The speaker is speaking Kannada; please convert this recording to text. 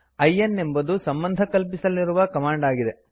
ಲ್ನ್ ಎಂಬುದು ಸಂಬಂಧಕಲ್ಪಿಸಲಿರುವ ಕಮಾಂಡ್ ಆಗಿದೆ